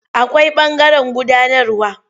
Akwai ɓangaren gudanarwa.